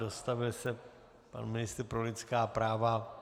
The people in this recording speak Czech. Dostavil se pan ministr pro lidská práva.